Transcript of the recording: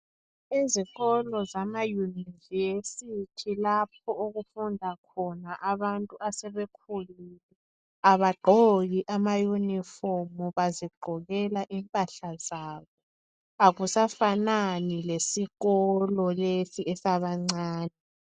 Izikolo zama yunivesithi lapho okufunda khona abantu asebekhulile abagqoki amayunifomu, bazigqokela impahla zabo akusafanani lesikolo lesi esabancane.